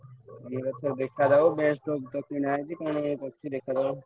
ମୁଁ କହିଲି ଏଥର ଦେଖାଯାଉ କଣ ଏବେ କରୁଚି ଦେଖାଯାଉ।